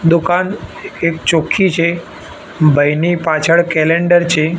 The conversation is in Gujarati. દુકાન એ ચોખ્ખી છે ભાઈની પાછળ કેલેન્ડર છે.